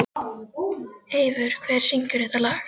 Eivör, hver syngur þetta lag?